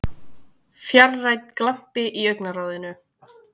fjarrænn glampi í augnaráðinu.